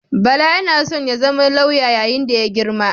Bala yana son zama lauya yayin da ya girma.